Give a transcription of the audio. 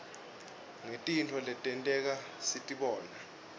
ngetintfo letenteka sitibona